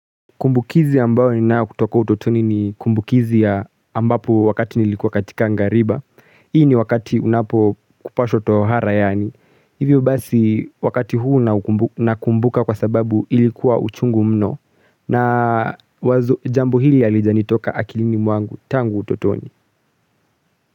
Kumbukizi ambayo ninayo kutoka utotoni ni kumbukizi ya ambapo wakati nilikuwa katika ngariba. Hii ni wakati unapo kupashwa tohara yaani. Hivyo basi wakati huu nakumbuka kwa sababu ilikuwa uchungu mno. Na wazo jambo hili halijanitoka akilini mwangu tangu utotoni.